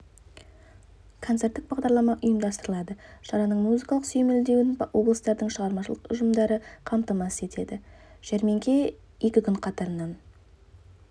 концерттік бағдарлама ұйымдастырылады шараның музыкалық сүйемелдеуін облыстардың шығармашылық ұжымдары қамтамасыз етеді жәрмеңке екі күн қатарынан